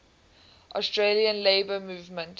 australian labour movement